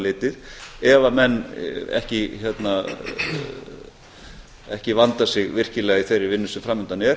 litið ef menn ekki vanda sig virkilega í þeirri vinnu sem fram undan er